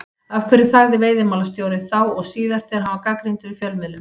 Af hverju þagði veiðimálastjóri, þá og síðar, þegar hann var gagnrýndur í fjölmiðlum?